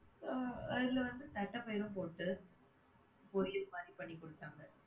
அதுல வந்து தட்டபயிறும்போட்டு, பொரியல் மாரி பண்ணிக் கொடுத்தாங்க.